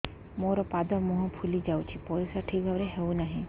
ମୋର ପାଦ ମୁହଁ ଫୁଲି ଯାଉଛି ପରିସ୍ରା ଠିକ୍ ଭାବରେ ହେଉନାହିଁ